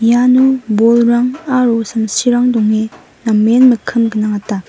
iano bolrang aro samsirang donge namen mikkim gnangata.